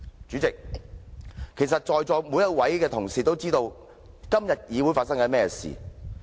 主席，其實在座每位同事都知道今天的議會正在發生甚麼事情。